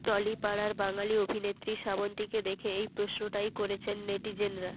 টলিপাড়ার বাঙালি অভিনেত্রী শ্রাবন্তীকে দেখে এই প্রশ্নটাই করছেন নেটিজেনরা